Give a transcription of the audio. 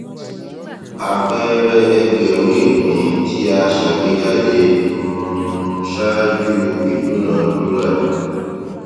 àpẹẹrẹ ẹgbẹrún ìpín tí a sàgbéjáde um ṣáájú ìdúnàádúrà